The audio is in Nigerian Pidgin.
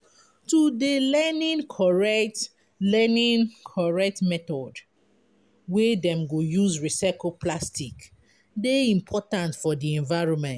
To dey learning correct learning correct method wey dem go use recycle plastic dey important for di environment.